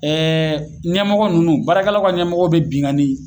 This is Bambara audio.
Ɛɛ ɲɛmɔgɔ nunnu baarakɛlaw ka ɲɛmɔgɔw be bingannin